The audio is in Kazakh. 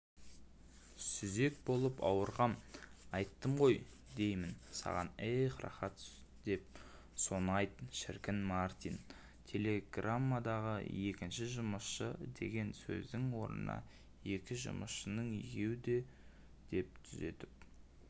сүзек болып ауырғам айттым ғой деймін саған эх рахат деп соны айт шіркінмартин телеграммадағы екінші жұмысшы деген сөздің орнына екі жұмысшының екеуі де деп түзетіп